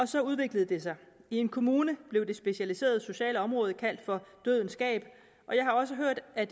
så udviklede det sig i en kommune blev det specialiserede socialområde kaldt for dødens gab og jeg har også hørt at